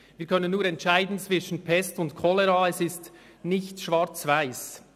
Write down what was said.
Wir können nur entscheiden zwischen Pest und Cholera, es ist nichts schwarz–weiss.